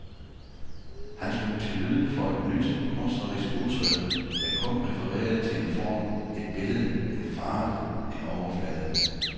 Han slog til lyd for et nyt kunstnerisk udtryk, der kun refererede til en form, et billede, en farve, en overflade.